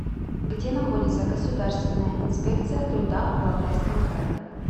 где находится государственная инспекция труда в алтайском крае